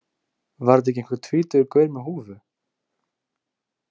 Var þetta ekki einhver tvítugur gaur með húfu?